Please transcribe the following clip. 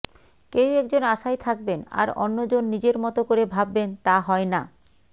কেউ একজন আশায় থাকবেন আর অন্যজন নিজের মতো করে ভাববেন তা হয় না